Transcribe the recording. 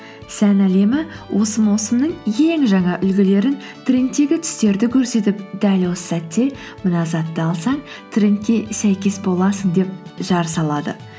сән әлемі осы маусымның ең жаңа үлгілерін трендтегі түстерді көрсетіп дәл осы сәтте мына затты алсаң трендке сәйкес боласың деп жар салады